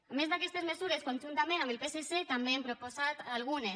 a més d’aquestes mesures conjuntament amb el psc també n’hem proposat algunes